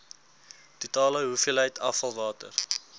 totale hoeveelheid afvalwater